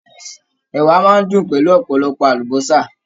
Ẹ̀wà máa n dùn pẹ̀lú ọpọlọpọ àlùbọ́sà.